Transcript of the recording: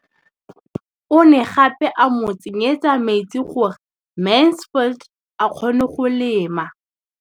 O ne gape a mo tsenyetsa metsi gore Mansfield a kgone go lema.